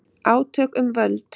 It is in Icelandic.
Átök um völd